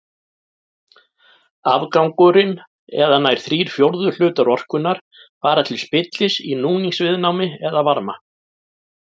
Afgangurinn eða nær þrír fjórðu hlutar orkunnar fara til spillis í núningsviðnámi eða varma.